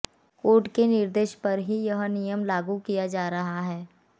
court के निर्देश पर ही यह नियम लागू किया जा रहा है